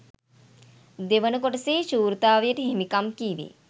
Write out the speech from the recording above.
දෙවන කොටසේ ශූරතාවයට හිමිකම් කීවේ